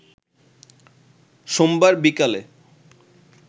সোমবার বিকালে